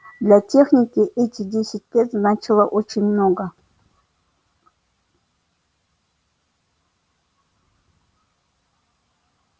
для техники эти десять лет значило очень много